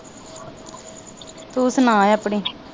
ਤੂੰ ਸੁਣਾ ਆਪਣੀ